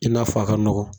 I n'a fɔ a ka nɔgɔn